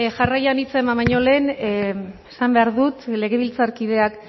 jarraian hitza eman baino lehen esan behar dut legebiltzarkideak